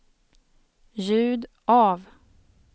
ljud av